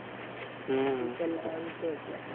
હમ પેલાનું છે એટલે.